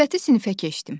Növbəti sinfə keçdim.